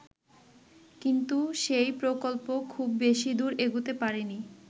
কিন্তু সেই প্রকল্প খুব বেশি দূর এগুতে পারেনি।